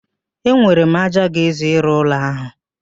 Enwere m ájá ga-ezu ịrụ ụlọ ahụ